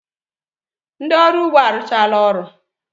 Ndị ọrụ ugbo arụchala ọrụ